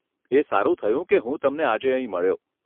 એ સારું થયું કે હું તમને આજે અહીં મળ્યો.